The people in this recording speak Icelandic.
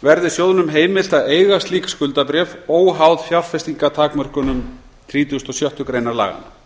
verði sjóðnum heimilt að eiga slík skuldabréf óháð fjárfestingartakmörkunum þrítugustu og sjöttu greinar laganna